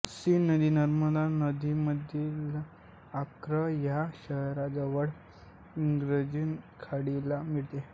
scene नदी नोर्मंदीमधील Le Havre ह्या शहराजवळ इंग्लिश खाडीला मिळते